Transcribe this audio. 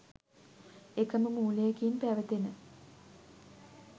එකම මූලයකින් පැවතෙන